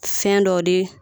Fɛn dɔw de